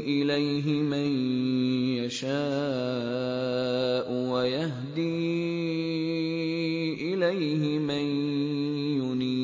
إِلَيْهِ مَن يَشَاءُ وَيَهْدِي إِلَيْهِ مَن يُنِيبُ